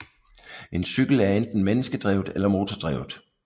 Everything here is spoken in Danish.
En cykel er enten menneskedrevet eller motordrevet